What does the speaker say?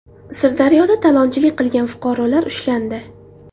Sirdaryoda talonchilik qilgan fuqarolar ushlandi.